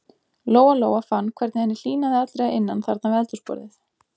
Lóa-Lóa fann hvernig henni hlýnaði allri að innan þarna við eldhúsborðið.